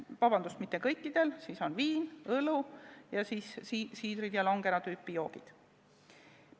Õigemini, vabandust, mitte kõikidel, loetelus on viin, õlu, siidrid ja longero tüüpi joogid.